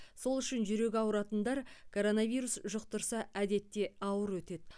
сол үшін жүрегі ауыратындар коронавирус жұқтырса әдетте ауыр өтеді